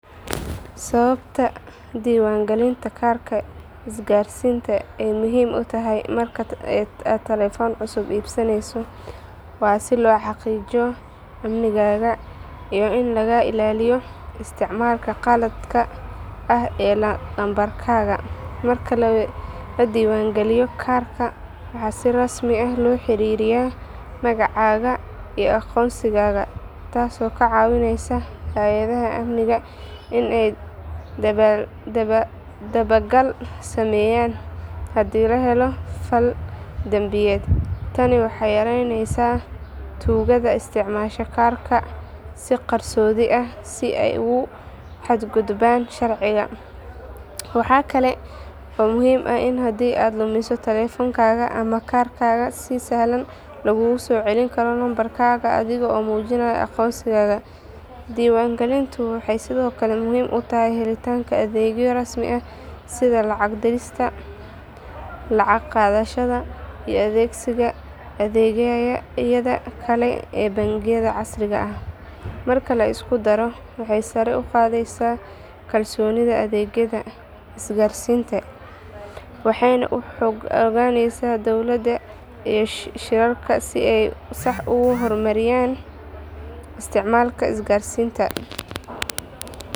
Sababta diiwaangelinta kaarka isgaarsiinta ay muhiim u tahay marka aad telefoon cusub iibsanayso waa si loo xaqiijiyo amnigaaga iyo in lagaa ilaaliyo isticmaalka qaladka ah ee lambarkaaga. Marka la diiwaangeliyo kaarka, waxaa si rasmi ah loo xiriiriyaa magacaaga iyo aqoonsigaaga taasoo ka caawinaysa hay’adaha amniga in ay dabagal sameeyaan haddii la helo fal dambiyeed. Tani waxay yaraynaysaa tuugada isticmaasha kaararka si qarsoodi ah si ay ugu xadgudbaan sharciga. Waxaa kaloo muhiim ah in haddii aad lumiso telefoonkaaga ama kaarkaaga, si sahlan laguugu soo celin karo lambarkaaga adiga oo muujinaya aqoonsigaaga. Diiwaangelintu waxay sidoo kale muhiim u tahay helitaanka adeegyo rasmi ah sida lacag dirista, lacag qaadashada, iyo adeegsiga adeegyada kale ee bangiyada casriga ah. Marka la isku daro, waxay sare u qaadaysaa kalsoonida adeegyada isgaarsiinta, waxayna u oggolaanaysaa dowladda iyo shirkadaha in ay si sax ah u maareeyaan isticmaalka isgaarsiinta.